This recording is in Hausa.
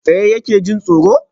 Tsaye yake, jin tsoro